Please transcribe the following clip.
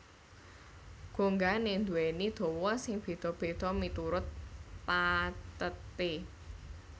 Gongané nduwèni dawa sing béda béda miturut patheté